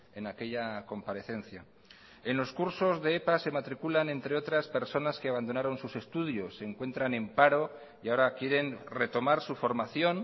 en aquella comparecencia en los cursos de epa se matriculan entre otras personas que abandonaron sus estudios se encuentran en paro y ahora quieren retomar su formación